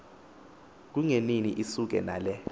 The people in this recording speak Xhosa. kungenini isuke nale